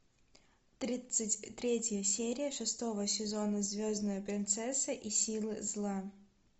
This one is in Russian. тридцать третья серия шестого сезона звездная принцесса и силы зла